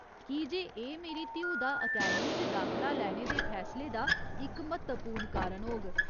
की जे एह् मेरी धीऊ दा अकैडमी च दाखला लैने दे फैसले दा इक म्हत्वपूर्ण कारण होग।